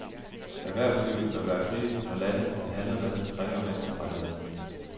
Erhvervslivet bør være kritisk når lande, det handler med, krænker menneskerettigheder.